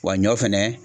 Wa ɲɔ fɛnɛ